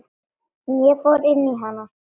Ég fór inn í hana.